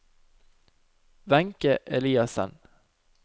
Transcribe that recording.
Wenche Eliassen